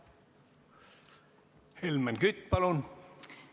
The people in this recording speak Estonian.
Helmen Kütt, palun!